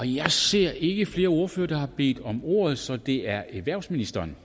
jeg ser ikke flere ordførere der har bedt om ordet så er det erhvervsministeren